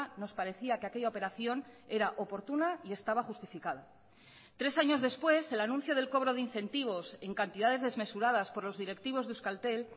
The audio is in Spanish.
nos parecía que aquella operación era oportuna y estaba justificada tres años después el anuncio del cobro de incentivos en cantidades desmesuradas por los directivos de euskaltel